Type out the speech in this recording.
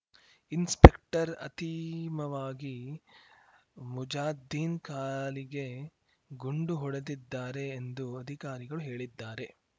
inspector ಅತಿಮವಾಗಿ ಮುಜಾದ್ದೀನ್‌ ಕಾಲಿಗೆ ಗುಂಡು ಹೊಡೆದಿದ್ದಾರೆ ಎಂದು ಅಧಿಕಾರಿಗಳು ಹೇಳಿದ್ದಾರೆ